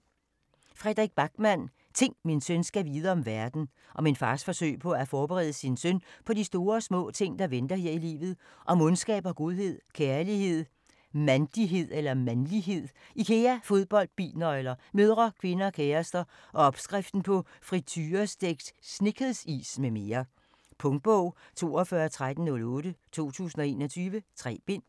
Backman, Fredrik: Ting, min søn skal vide om verden Om en fars forsøg på at forberede sin søn på de store og små ting, der venter her i livet - om ondskab og godhed, kærlighed, mand(l)ighed, Ikea, fodbold, bilnøgler, mødre, kvinder, kærester og opskriften på friturestegt Snickers-is m.m. Punktbog 421308 2021. 3 bind.